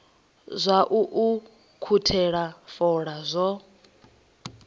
zwa u ukhuthela fola zwo